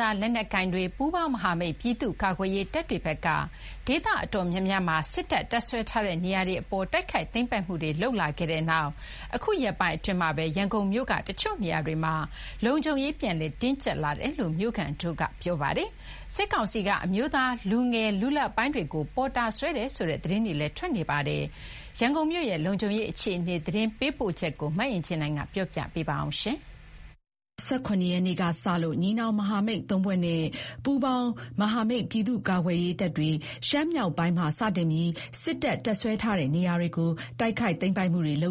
သားလက်နက်ကိုင်တွေ၊ ပူးပေါင်းမဟာမိတ် ပြည်သူ့ကာကွယ်ရေး တပ်တွေဘက်က ဒေသတော်တော်များမှာ စစ်တပ်တပ်စွဲထားတဲ့နေရာတွေအပေါ် တိုက်ခိုက်သိမ်းပိုက်မှုတွေ လုပ်လာခဲ့တဲ့နောက် အခုရက်ပိုင်းအတွင်းမှာပဲ ရန်ကုန်မြို့က တချို့နေရာတွေမှာ လုံခြုံရေးတွေ ပြန်လည်တင်းကြပ်လာနေတယ်လို့ မြို့ခံတွေကပြောပါ တယ်။ စစ်ကောင်စီက အမျိုးသား လူငယ်လူလတ်ပိုင်းတွေကို ပေါ်တာဆွဲနေတယ်ဆိုတဲ့သတင်းတွေ လည်း ထွက်ပေါ်နေတာပါ။ ရန်ကုန်မြို့ရဲ့ လုံခြုံရေ အခြေအနေ သတင်းပေးပို့ထားတာကို မအင်ကြင်းနိုင်က တင်ပြပေးထားပါတယ်။ ပြီးခဲ့တဲ့ အောက်တိုဘာ ၂၇ ရက်နေ့ကစလို့ ညီနောင်မဟာမိတ် ၃ ဖွဲ့နဲ့ ပူးပေါင်းမဟာမိတ် ပြည်သူ့ကာကွယ်ရေးတပ်တွေ ရှမ်းမြောက်ပိုင်းမှာစတင်ပြီး စစ်တပ် တပ်စွဲထားတဲ့နေရာတွေကို တိုက်ခိုက်သိမ်းပိုက်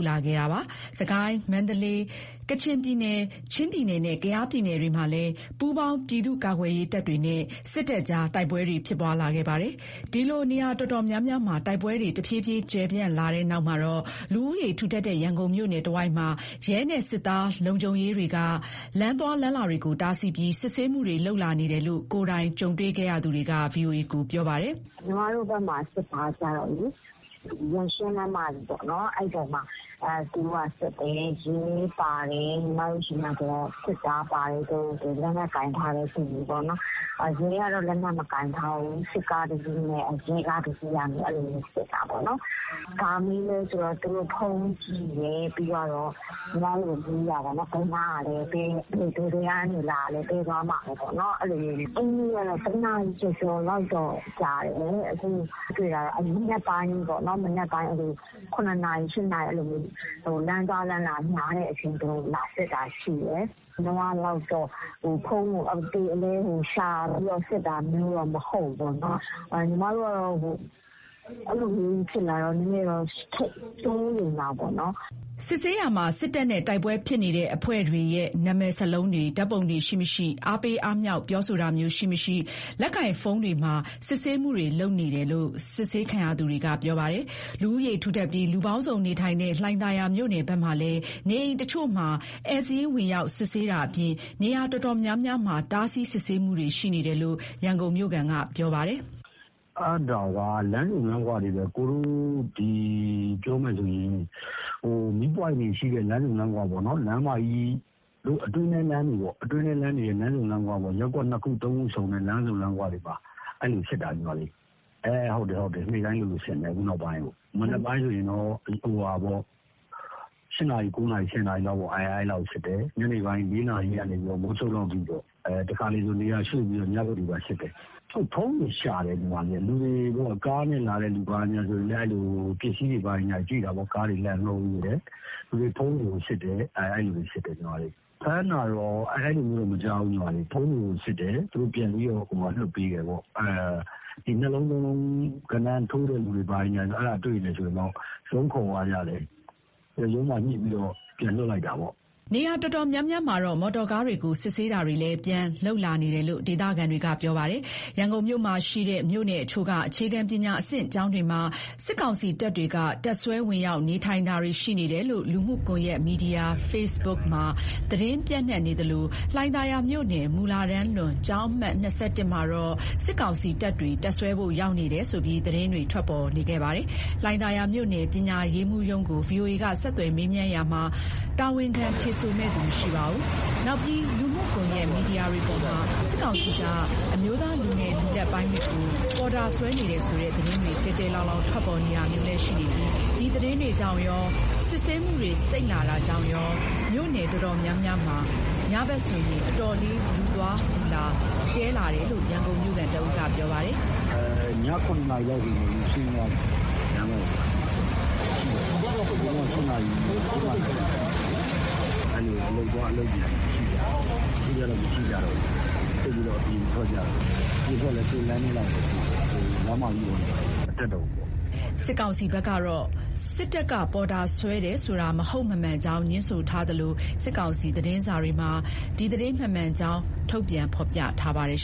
လာခဲ့တာပါ။ စစ်ကိုင်းတိုင်း၊ မန္တလေးတိုင်း၊ ကချင်ပြည်နယ်၊ ချင်းပြည်နယ်နဲ့ ကယားပြည်နယတွေမှာလည်း ပူးပေါင်းပြည်သူ့ကာကွယ်ရေးတပ်တွေနဲ့ စစ်တပ်ကြား တိုက်ပွဲတွေဖြစ်ပွားလာခဲ့ပါတယ်။ ဒီလို နေရာတော်တော်များများမှာ တိုက်ပွဲတွေ တဖြည်းဖြည်း ကျယ်ပြန့်လာတဲ့နောက်မှာတော့ လူဦးရေထူထပ်တဲ့ ရန်ကုန်မြို့နယ်တဝိုက်မှာ ရဲနဲ့စစ်သားလုံခြုံရေးတွေက လမ်းသွားလမ်းလာတွေကိုတားဆီးပြီး စစ်ဆေးလာနေတယ်လို့ ကိုယ်တိုင်ကြုံတွေ့ခဲ့သူတွေက VOA ကိုပြောပါတယ်။ “ညီမတို့ဘက်မှာကျတော့လေ ရန်ရှင်းလမ်းမကြီးပေါ်မှာ သူတို့စစ်တယ်။ ရဲပါတယ်။ စစ်သားပါတယ်။ လက်နက်ကိုင်ထားတဲ့သူတွေပေါ့။ ရဲကတော့ လက်နက်မကိုင်ထားဘူး။ စစ်ကားတစီးနဲ့ရဲကားတစီးကစစ်တာပေါ့နော်။ ဘာမေးလဲဆိုတော့ သူတို့ကဖုန်းကိုကြည့်တယ်။ ညီမတို့ကိုမေးတာတော့ ဘယ်နားကလဲ၊ ဘယ်သွားမှာလဲပေါ့နော်။ အဲနေ့က တနာရီကျော်ကျော်ကြာတယ်။ မနက်ပိုင်းပေါ့ ၇ နာရီ ၈ နာရီ လမ်းသွားလမ်းလာများတဲ့အချိန် စစ်တာပေါ့။ အရင်ကလို ဖုန်းကို အသေအလဲ ရှာစစ်တာမျိုးတော့မဟုတ်ဘူးပေါ့။ အဲလိုဖြစ်တော့ ညီမတို့ကတော့ စိုးရိမ်တာပေါ့နော်။ “ စစ်ဆေးရာမှာ စစ်တပ်နဲ့တိုက်ပွဲဖြစ်နေတဲ့အဖွဲ့တွေရဲ့ နာမည်စာလုံးတွေ၊ ဓါတ်ပုံတွေရှိမရှိ၊ အားပေးအားမြှောက်ပြောဆိုတာမျိုးရှိမရှိ၊ လက်ကိုင်ဖုန်းတွေထဲမှာ စစ်ဆေးတယ်လို့ စစ်ဆေးခံရသူတွေကပြောပါတယ်။ လူဦးရေထူထပ်ပြီး လူပေါင်းစုံနေထိုင်တဲ့ လှိုင်သာယာမြို့နယ်ဘက်မှာလည်း နေ အိမ်တချို့မှာ ဧည့်စာရင်းဝင်ရောက်စစ်ဆေးတာအပြင် နေရာတော်တော်များများမှာ တားဆီးစစ်ဆေးမှုတွေရှိနေတယ်လို့ ရန်ကုန်မြို့ခံက ပြောပြပါတယ်။ “အဲဒါက လမ်းဆုံလမ်းခွတွေ ကိုယ်တို့တွေ ဒီပြောမယ်ဆိုရင် မီးပွိုင့်တွေရှိတဲ့ လမ်းဆုံလမ်းခွ၊ လမ်းမကြီးနားအတွင်းဘက်လမ်းတွေရဲ့ လမ်းဆုံလမ်းခွ၊ ရပ်ကွက် ၂ ခု ၃ ခုကို ဆက်တဲ့နေရာတွေမှာ စစ်တာ။ ခုနောက်ပိုင်းက နေ့တိုင်းလိုလို စစ်နေတာ။ မနက်ပိုင်းဆို ၈ နာရီ ၉ နာရီ ၁၀ နာရီလောက် စစ်တယ်။ ညနေဆိုရင်တော့ ၄ နာရီကနေ မိုးချုပ်တဲ့အထိပေါ့။ တခါတလေ နေရာရွှေ့။ ညပိုင်းထိပါ စစ်တယ်။ ဖုန်းတွေကိုစစ်တယ်။ ကားတွေဘာတွေဆိုလည်း လှန်လှောပြီး စစ်တယ်။ လူတွေကိုကျ ဖုန်းတွေ စစ်တယ်။ ဖမ်းတာ ဘာညာတော့ မကြားသေးဘူး။ အဲ ၂ လုံး ၃ လုံးသမားတွေ မိရင်တော့ ရုံးခေါ်တယ်။ ပြီးရင်ညှိပြီး ပြန်လွှတ်တယ်။” နေရာ တော်တော်များများမှာတော့ မော်တော်ကားတွေကို စစ်ဆေးတာတွေလည်း ပြန်လုပ်လာနေတယ်လို့ ဒေသခံတွေက ပြောပါတယ်။ ရန်ကုန်မြို့ မှာရှိတဲ့မြို့နယ်အချို့က အခြေခံပညာအဆင့်ကျောင်းတွေမှာ စစ်ကောင်စီတပ်တွေက တပ်စွဲဝင်ရောက်နေထိုင်တာတွေ ရှိနေတယ်လို့ လူမှုကွန်ယက်မီဒီယာ ဖေ့စ်ဘုတ်မှာ သတင်းပျံ့နှံ့နေသလို လှိုင်သာယာမြို့နယ် မူလတန်းလွန်ကျောင်း အမှတ် မှာတော့ စစ်ကောင်စီတပ်တွေ တပ်စွဲဖို့ရောက်နေတယ်ဆိုပြီး သတင်းတွေထွက် ပေါ်နေခဲ့ပါတယ်။ လှိုင်သာယာမြို့နယ် ပညာရေးမှူးရုံးကို ဗွီအိုအေက ဆက်သွယ် မေးမြန်းတာမှာတော့ တာဝန်ခံ ဖြေဆိုမယ့်သူမရှိပါဘူး။ နောက်ပြီး လူမှုကွန်ယက်မီဒီယာတွေပေါ်မှာ စစ်ကောင်စီက အမျိုးသားလူငယ်လူလတ်ပိုင်းတွေကို ပေါ်တာဆွဲနေတယ်ဆိုတဲ့သတင်းတွေ ကျယ်ကျယ်လောင်လောင် ထွက်ပေါ်နေတာမျိုးလည်းရှိနေပြီး ဒီသတင်းတွေကြောင့်ကော စစ်ဆေးမှုတွေစိတ်လာတာကြောင့်ကော မြို့နယ်တော်တော်များများမှာ ညဘက် အတော်လေး လူသွားလူလာကျဲလာတယ်လို့ ရန်ကုန်မြို့ခံတဦးက ပြောပါတယ်။ “ည ၇ နာရီလောက်ဆို လူရှင်းတယ်။ သိပ်ပြီး လူမရှိတော့ဘူး။ နဂိုကဆို ၈ နာရီ ၉ နာရီလောက်ထိ ရှိတယ်လေ။ အလုပ်သွား အလုပ်ပြန်တွေပဲ ရှိကြတာကိုး။ ခုကျ သိပ်အပြင်မထွက်ကြတော့ဘူး။ အပြင်ထွက်လည်း ကိုယ့်လမ်းထဲကိုယ်ပေါ့ လမ်းမကြီးပေါ် သိပ်မတက်ရဲတော့ဘူး။” စစ်ကောင်စီဘက်ကတော့ စစ်တပ်က ပေါ်တာဆွဲတယ်ဆိုတာ မဟုတ်မမှန်ကြောင်း ငြင်းဆိုထားသလို ဒီကနေ့ ထုတ်ပြန်တဲ့ စစ်ကောင်စီ သတင်းစာတွေမှာ ဒီသတင်းမမှန်ကြောင်း ထုတ်ပြန်ဖော်ပြထားပါတယ်